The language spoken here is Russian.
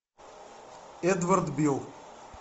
эдвард бил